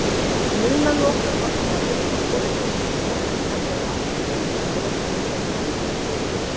Núna lokar markaðurinn svolítið snemma en menn eru alltaf tilbúnir að kíkja í kringum sig.